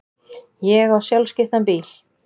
Ég á sjálfskiptan bíl.